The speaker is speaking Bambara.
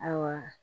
Ayiwa